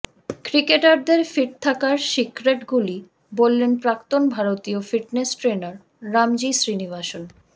ক্রিকেটারদের ফিট থাকার সিক্রেটগুলি বললেন প্রাক্তন ভারতীয় ফিটনেস ট্রেনার রামজি শ্রীনিবাসন